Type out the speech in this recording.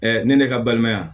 ne ne ka balimaya